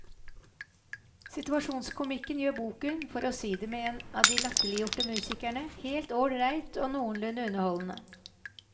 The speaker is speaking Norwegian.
Situasjonskomikken gjør boken, for å si det med en av de latterliggjorte musikerne, helt ålreit og noenlunde underholdende.